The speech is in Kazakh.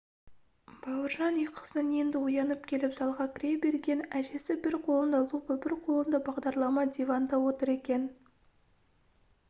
бауыржан ұйқысынан енді оянып келіп залға кіре берген әжесі бір қолында лупа бір қолында бағдарлама диванда отыр екен